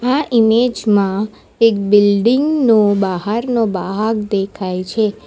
આ ઈમેજ માં એક બિલ્ડીંગ નો બહારનો ભાગ દેખાય છે.